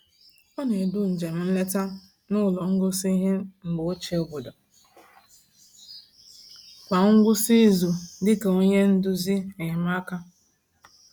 Ọ na-edu njem nleta n’ụlọ ngosi ihe mgbe ochie obodo kwa ngwụsị izu dị ka onye nduzi enyemaka.